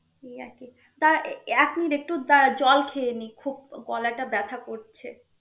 এই আর কি দাড়~ এক মিনিট একটু দাঁড়া জল খেয়ে নিই খুব গলাটা ব্যথা করছে.